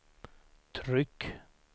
tryck